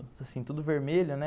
Assim, tudo vermelho, né?